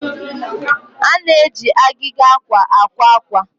a na-eji agịga akwa akwa akwa